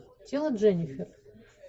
тело дженифер